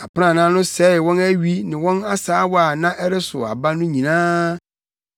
Aprannaa no sɛee wɔn awi ne wɔn asaawa a na ɛresow aba no nyinaa.